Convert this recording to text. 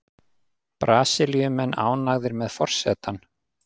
Brasilíumenn ánægðir með forsetann